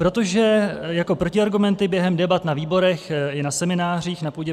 Protože jako protiargumenty během debat na výborech i na seminářích na půdě